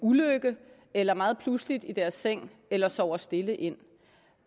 ulykke eller meget pludseligt i deres seng eller sover stille ind